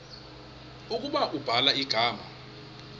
ukuba ubhala igama